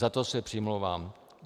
Za to se přimlouvám.